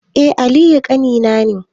Eh aliyu ƙanina ne